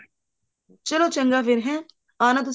ਚਲੋ ਚੰਗਾ ਫ਼ੇਰ ਹੈਂ ਆਉਣਾ ਤੁਸੀਂ